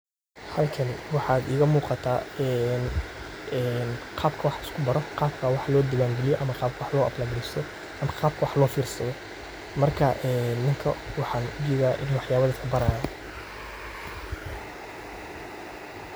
Xalkan waxaad iiga muuqata een een qabka waax lisku baro ,qabka waax loo diwan galiyo ama qabka wax loo apply gareysto ama qabaka waax loo fir sadho marka een ninkan waxan ujedha inuu wax yabaa dadka baraayo.